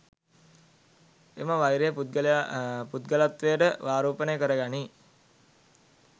එම වෛරය පුද්ගලත්වයට ආරෝපණය කර ගනී.